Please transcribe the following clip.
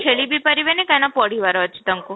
ଖେଳିବି ପାରିବେନି କାହିଁକି ନା ପଢିବାର ଅଛି ତାଙ୍କୁ